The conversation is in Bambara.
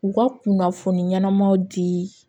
U ka kunnafoni ɲɛnamaw di